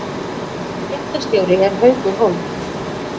Fréttastjóri er Haukur Hólm